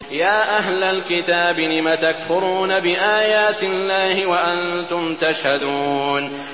يَا أَهْلَ الْكِتَابِ لِمَ تَكْفُرُونَ بِآيَاتِ اللَّهِ وَأَنتُمْ تَشْهَدُونَ